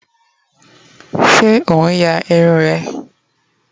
se on ya irun eee?